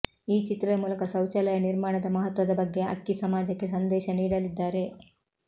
ಈ ಚಿತ್ರದ ಮೂಲಕ ಶೌಚಾಲಯ ನಿರ್ಮಾಣದ ಮಹತ್ವದ ಬಗ್ಗೆ ಅಕ್ಕಿ ಸಮಾಜಕ್ಕೆ ಸಂದೇಶ ನೀಡಲಿದ್ದಾರೆ